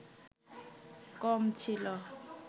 কম ছিল